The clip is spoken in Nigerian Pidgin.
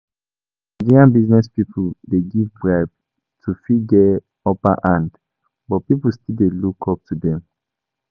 Some Nigerian business pipo dey give bribe to fit get upper hand but pipo still dey look up to them